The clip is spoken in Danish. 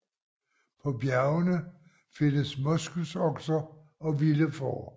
På bjergene findes moskusokser og vilde får